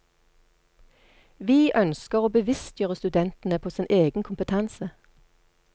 Vi ønsker å bevisstgjøre studentene på sin egen kompetanse.